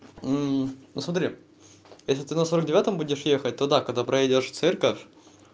ну смотри это ты на сорок девятом будешь ехать то да когда проедешь церковь